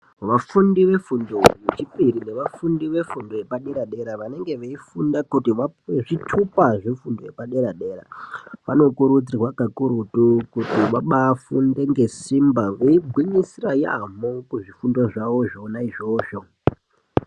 Vafundi vefundo yechipiri nevafundi vefundo yepadera dera vanenge veifunda kuti vapuwe zvitupa zvefundo yepadera vanokurudzirwa kakurutu kuti vabafunde nesimbe veigwisira yambo kuzvifundo zvawo zvona izvozvo.